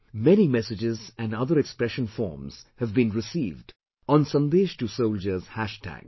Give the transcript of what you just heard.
Many messages and other expression forms have been received on 'Sandesh to Soldiers' hashtag